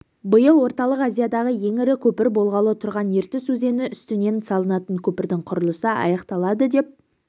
биыл орталық азиядағы ең ірі көпір болғалы тұрған ертіс өзені үстінен салынатын көпірдің құрылысы аяқталады деп